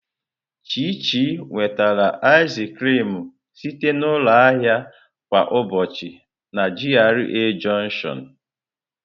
Chichi nwetara ịz krịm site na ụlọ ahịa kwa ụbọchị na GRA Jọnshịọn.